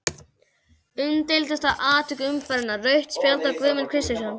Umdeildasta atvik umferðarinnar: Rautt spjald á Guðmund Kristjánsson?